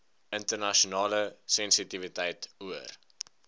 internasionale sensitiwiteit oor